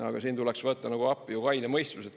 Aga siin tuleks võtta nagu appi ju kaine mõistus.